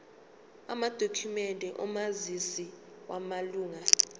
amadokhumende omazisi wamalunga